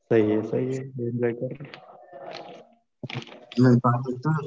सही आहे सही आहे. एन्जॉय कर. मग बाकीचं